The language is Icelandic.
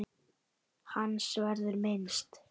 Hans verður minnst.